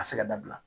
Ka se ka dabila